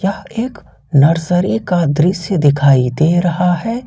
एक नर्सरी का दृश्य दिखाई दे रहा है।